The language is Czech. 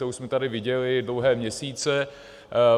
To už jsme tady viděli dlouhé měsíce.